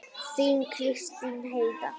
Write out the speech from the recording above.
Þín Kristín Heiða.